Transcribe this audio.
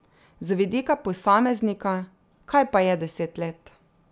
Z vidika posameznika, kaj pa je deset let.